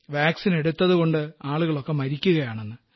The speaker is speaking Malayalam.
വാക്സിൻ എടുത്തതുകൊണ്ട് ആളുകളൊക്കെ മരിക്കുകയാണെന്ന്